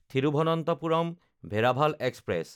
Thiruvananthapuram Veraval express